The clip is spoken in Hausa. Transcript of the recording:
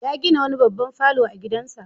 Ya gina wani babban falo a gidansa.